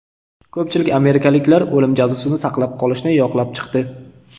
Ko‘pchilik amerikaliklar o‘lim jazosini saqlab qolishni yoqlab chiqdi.